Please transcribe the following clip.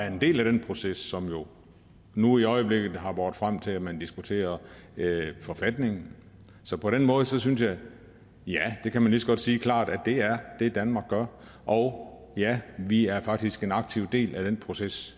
en del af den proces som jo nu i øjeblikket har båret frem til at man diskuterer forfatningen så på den måde synes jeg at ja det kan man lige så godt sige klart det er det danmark gør og ja vi er faktisk en aktiv del af den proces